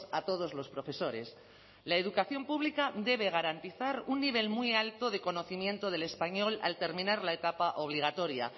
a todos los profesores la educación pública debe garantizar un nivel muy alto de conocimiento del español al terminar la etapa obligatoria